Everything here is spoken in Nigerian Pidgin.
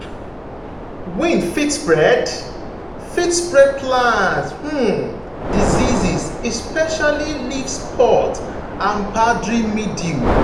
wind fit spread fit spread plant um diseases especially leaf spot and powdery mildew.